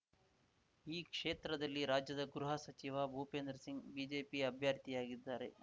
ಈ ಕ್ಷೇತ್ರದಲ್ಲಿ ರಾಜ್ಯದ ಗೃಹ ಸಚಿವ ಭೂಪೇಂದ್ರ ಸಿಂಗ್‌ ಬಿಜೆಪಿ ಅಭ್ಯರ್ಥಿಯಾಗಿದ್ದಾರೆ